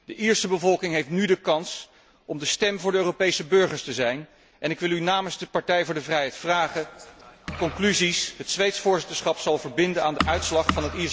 De Ierse bevolking heeft nu de kans om de stem van de Europese burgers te zijn en ik wil u namens de Partij voor de Vrijheid vragen welke conclusies het Zweeds voorzitterschap zal verbinden aan de uitslag van het Iers referendum.